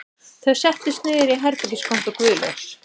Þau settust niður í herbergiskompu Guðlaugs